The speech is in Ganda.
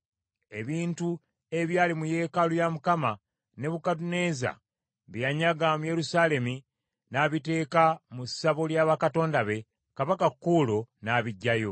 Ebintu ebyali mu yeekaalu ya Mukama , Nebukadduneeza bye yanyaga mu Yerusaalemi n’abiteeka mu ssabo lya bakatonda be, Kabaka Kuulo, n’abiggyayo.